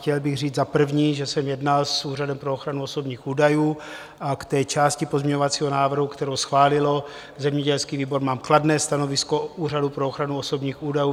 Chtěl bych říct za prvé, že jsem jednal s Úřadem pro ochranu osobních údajů, a k té části pozměňovacího návrhu, kterou schválil zemědělský výbor, mám kladné stanovisko Úřadu pro ochranu osobních údajů.